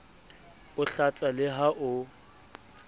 o hlatsa le ha o